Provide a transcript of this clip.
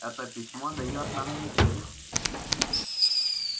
это письмо даёт нам неделю